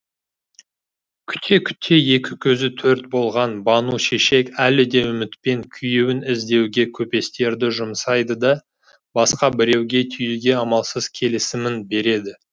күте күте екі көзі төрт болған бану шешек әлі де үмітпен күйеуін іздеуге көпестерді жұмсайды да басқа біреуге тиюге амалсыз келісімін береді